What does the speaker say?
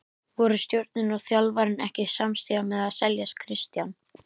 Voru stjórnin og þjálfarinn ekki samstíga með að selja Kristján?